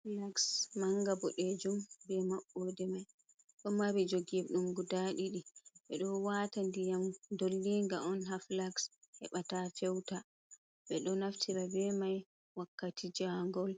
Flaks manga bodejum be maɓɓode mai ɗo maɓɓi. jogeɗum guda ɗiɗi. Ɓe ɗo wata ndiyam dollinga on ha flaks, heɓa ta feuta. Ɓe ɗo naftira be mai wakkati ja ngol